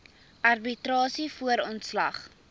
arbitrasie voor ontslag